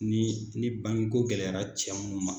Ni ni bangeko gɛlɛyara cɛ mun ma.